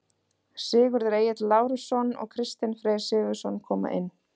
Sigurður Egill Lárusson og Kristinn Freyr Sigurðsson koma inn.